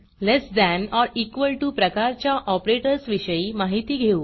less than or equal to प्रकारच्या ऑपरेटर्सविषयी माहिती घेऊ